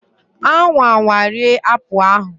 anwa anwa rie apple ahu!